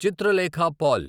Chitralekha Paul